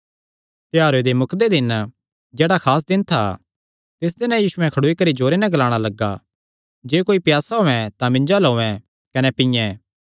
त्योहारे दे मुकदे दिन जेह्ड़ा खास दिन था तिस दिने यीशु खड़ोई करी जोरे नैं ग्लाणा लग्गा जे कोई प्यासा होयैं तां मिन्जो अल्ल औयें कने पीयें